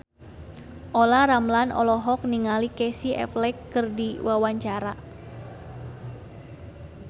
Olla Ramlan olohok ningali Casey Affleck keur diwawancara